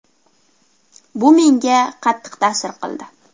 Bu menga qattiq ta’sir qildi.